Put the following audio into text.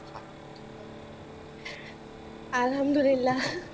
আল্হামদুলিল্লা,